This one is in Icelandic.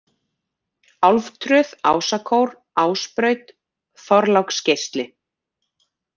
Álftröð, Ásakór, Ásbraut, Þorláksgeisli